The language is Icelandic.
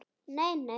Nei, nei.